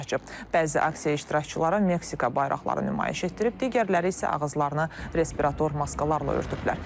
Bəzi aksiya iştirakçıları Meksika bayraqları nümayiş etdirib, digərləri isə ağızlarını respirator maskalarla örtüblər.